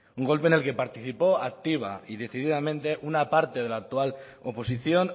un golpe en el que participó activa y decididamente una parte de la actual oposición